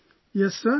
Prem |